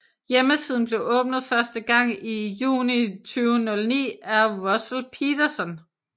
Hjemmesiden blev åbnet første gang juni 2009 af Russell Peterson